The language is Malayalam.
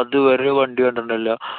അതുവരെ ഒരു വണ്ടി കണ്ടിട്ടുണ്ടായിരുന്നില്ല.